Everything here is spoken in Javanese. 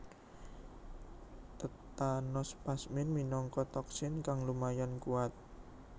Tetanospasmin minangka toksin kang lumayan kuat